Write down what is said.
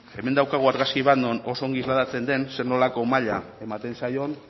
hemen daukagu argazki bat non oso ondo islatzen den ze nolako maila ematen zaion